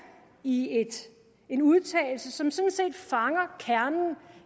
i en udtalelse som sådan set fanger kernen